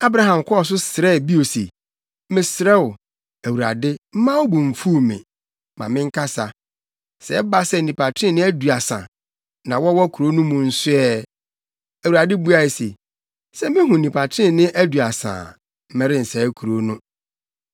Abraham kɔɔ so srɛɛ bio se, “Mesrɛ wo, Awurade, mma wo bo mfuw me, ma menkasa. Sɛ ɛba sɛ nnipa trenee aduasa na wɔwɔ kurow no mu nso ɛ?” Awurade buae se, “Sɛ mihu nnipa trenee aduasa a, merensɛe kurow no.”